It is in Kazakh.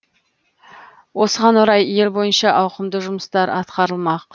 осыған орай ел бойынша ауқымды жұмыстар атқарылмақ